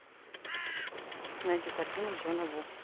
найди картину джона ву